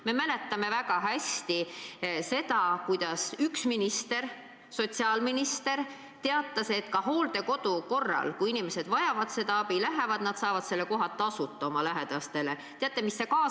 Me mäletame väga hästi, et üks sotsiaalminister teatas, et kui inimesed vajavad hooldekodu, siis nad saavad selle koha nii, et lähedased ei pea selle eest tasuma.